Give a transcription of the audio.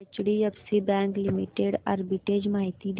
HDFC bank limited arbitrage माहिती दे